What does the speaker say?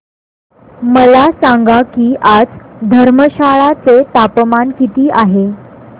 मला सांगा की आज धर्मशाला चे तापमान किती आहे